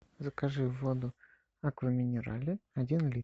закажи воду аква минерале один литр